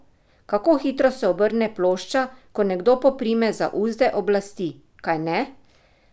Kako hitro se obrne plošča, ko nekdo poprime za uzde oblasti, kajne?